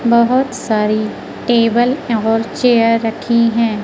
बहोत सारी टेबल और चेयर रखी है।